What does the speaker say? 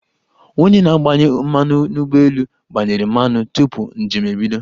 Onye na-agbanye mmanụ n'ụgbọelu gbanyere mmanụ tupu njem ebido.